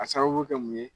A sababu kɛ mun ye